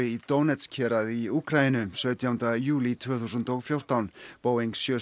í Donetsk héraði í Úkraínu sautjánda júlí tvö þúsund og fjórtán Boeing sjö